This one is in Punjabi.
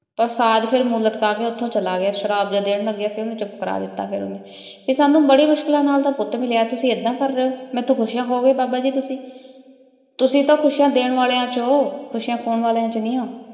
ਊ ਸਾਦ ਫੇਰ ਚੁਪ ਕਰ ਕ ਓਥੋਂ ਚਲਾ ਗਯਾ ਸ਼ਰਾਪ ਦੇਣ ਲਗਾਯਾ ਸੀਗਾ ਓਹਨੁ ਚੁਪ ਕਰ ਤਾ ਫੇਰ ਓਹਨਾਂ ਨੇ ਕਹ ਸਾਨੂ ਬਾਰੀ ਮੁਸ਼ਕਿਲਾਂ ਨਾਲ ਆਯ ਪੁਤ ਮਿਲਯਾ ਤੁਸੀਂ ਏਦਾਂ ਕਰ ਰਹੀ ਊ ਹਾਥੋ ਖੁਸ਼ ਨਾ ਹੋਆਯ ਤੁਸੀਂ ਤੁਸੀਂ ਟੀ ਖੁਸ਼ਿਯਾਂ ਦੇਣ ਵਾਲੀਆਂ ਚੋ ਹੋ ਖੁਸ਼ਿਯਾਂ ਖੂਨ ਵਾਲੀਆਂ ਚੋ ਨਹੀ